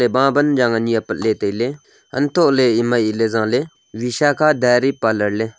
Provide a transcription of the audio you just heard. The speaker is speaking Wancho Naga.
banjang ani apatley tailey untohley ema aley zaley visakha dairy parlour ley.